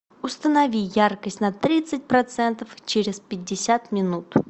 установи яркость на тридцать процентов через пятьдесят минут